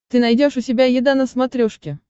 ты найдешь у себя еда на смотрешке